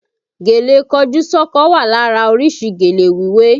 Gèlè kọjú sọ́kọ wà lára orísìí gèlè wíwé